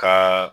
Ka